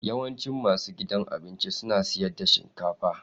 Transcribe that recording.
Yawancin masu gidan abinci suna siyar da shinkafa